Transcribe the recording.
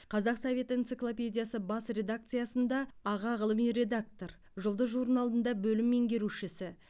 қазақ совет энциклопедиясы бас редакциясында аға ғылыми редактор жұлдыз журналында бөлім меңгерушісі